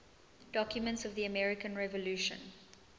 documents of the american revolution